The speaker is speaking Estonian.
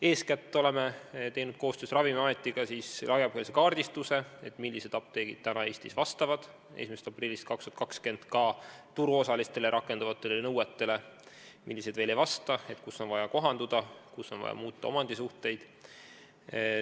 Eeskätt oleme koostöös Ravimiametiga teinud laiapõhjalise kaardistuse, millised apteegid vastavad praegu Eestis 1. aprillil 2020 turuosalistele rakenduma hakkavatele nõuetele ja millised veel ei vasta ning kus on midagi vaja kohandada ja kus on vaja omandisuhteid muuta.